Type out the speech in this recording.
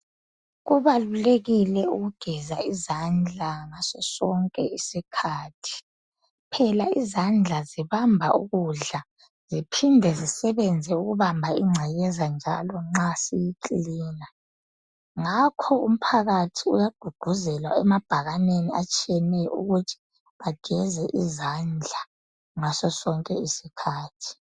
kubalulekile ukugeza izandla ngaso sonke isikhathi phela izandla zibamba ukudla ziphinde zisebenze ukubamba incekeza njalo nxa siyi cleaner ngakho umpakathi uyagqugquzelwa emabhakaneni atshiyeneyo ukuthi bageze izandla ngaso sonke isikhathi